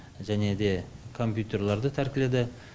және де компьютерларды тәркіледі